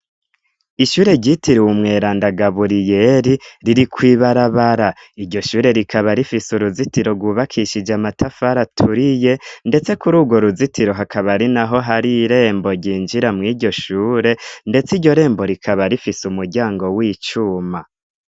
Ishure ryitiriwe umweranda Gaburiyeri riri kw'ibarabara. Iryo shure rikaba rifise uruzitiro rwubakishije amatafari aturiye ndetse kuri urwo ruzitiro hakaba ari naho hari irembo ryinjira mu iryo shure, ndetse iryo rembo rikaba rifise umuryango w'icuma.